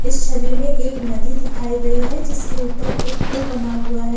इस छवि में एक नदी दिखाई गई है जिसके ऊपर एक पुल बना हुआ है।